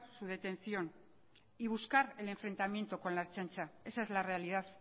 su detención y buscar el enfrentamiento con la ertzaintza esa es la realidad